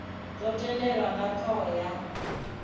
dzo tendelwa nga thoho ya